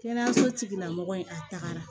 Kɛnɛyaso tigila mɔgɔ ye a tagara